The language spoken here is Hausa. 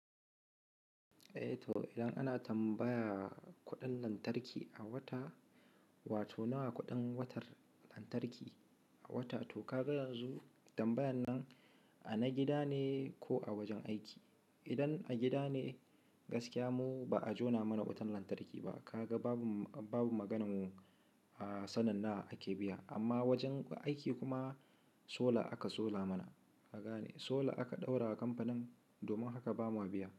Eh to idan ana tambaya kuɗin lantarki a wata, wato nawa kuɗin wutar lantarki a wata, to ka ga yanzu tambayan nan ana gida ne ko a wajen aiki? Idan a gida ne gaskiya mu ba a jona mana wutan lantarki ba. Ka ga babu, babu maganan mu a sanin nawa ake biya. Amma wajen aiki kuma sola aka sola mana. Kagane, solar aka ɗaura wa kamfanin domin haka bamu biya.